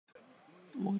Moteyi liloba na Nzambe.